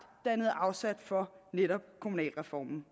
dannede afsæt for netop kommunalreformen